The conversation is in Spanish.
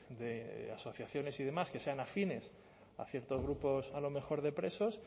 de asociaciones y demás que sean afines a ciertos grupos a lo mejor de presos